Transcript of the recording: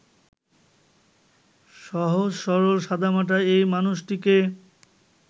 সহজ-সরল সাদামাটা এই মানুষটিকে